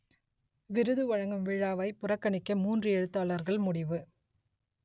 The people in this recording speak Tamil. விருது வழங்கும் விழாவை புறக்கணிக்க மூன்று எழுத்தாளர்கள் முடிவு